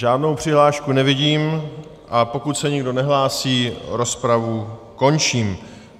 Žádnou přihlášku nevidím, a pokud se nikdo nehlásí, rozpravu končím.